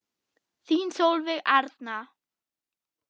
Þín Sólveig Arna.